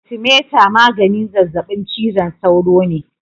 Atimeter magani zazzabin cizon sauro ne.